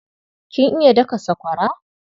Kin iya daka sakwara?